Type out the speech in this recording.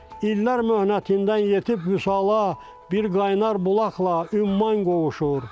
İllər möhnətindən yetib Vüsala, bir qaynar bulaqla ümman qovuşur.